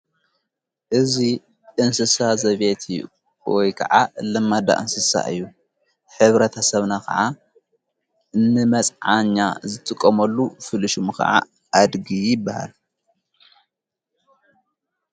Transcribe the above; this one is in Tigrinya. እዙይ እንስሳ ዘቤት ወይ ከዓ እለማዳ እንስሳ እዩ ሕብረተሰብና ኸዓ ንመጽዓኛ ዝትቆመሉ ፍሉይ ሽሙ ኸዓ ኣድጊ ይበሃል።